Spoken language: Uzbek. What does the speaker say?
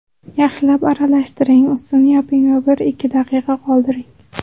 Yaxshilab aralashtiring, ustini yoping va bir-ikki daqiqa qoldiring.